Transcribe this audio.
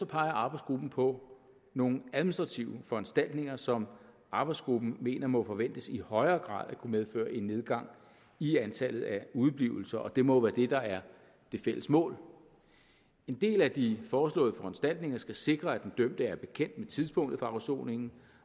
peger arbejdsgruppen på nogle administrative foranstaltninger som arbejdsgruppen mener må forventes i højere grad at kunne medføre en nedgang i antallet af udeblivelser og det må være det der er det fælles mål en del af de foreslåede foranstaltninger skal sikre at den dømte er bekendt med tidspunktet for afsoningen